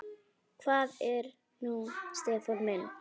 Hvað er nú Stefán minn?